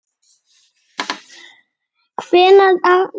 Hvenær á ég afmæli?